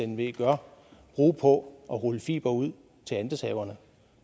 nve gør bruge på at rulle fibre ud til andelshaverne